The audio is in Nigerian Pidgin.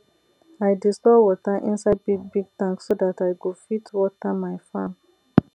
i dey store wata inside big big tank so that i go fit wata my farm